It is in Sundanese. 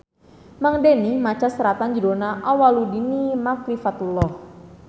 Mang Deni maca seratan judulna Awwaluddini Makrifatullah